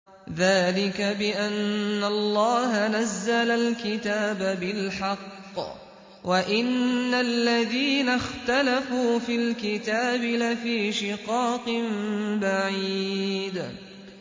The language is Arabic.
ذَٰلِكَ بِأَنَّ اللَّهَ نَزَّلَ الْكِتَابَ بِالْحَقِّ ۗ وَإِنَّ الَّذِينَ اخْتَلَفُوا فِي الْكِتَابِ لَفِي شِقَاقٍ بَعِيدٍ